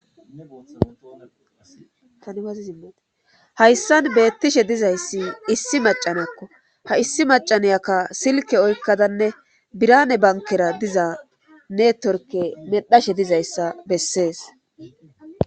Hayssan beettishe dizayssi issi macanakko ha issi macaneyaka silke oykkadanne birane bankera diza neetorke medhashe dizayssa bessees.